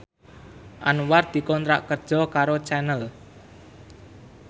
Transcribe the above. Anwar dikontrak kerja karo Channel